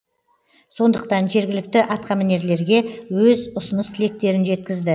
сондықтан жергілікті атқамінерлерге өз ұсыныс тілектерін жеткізді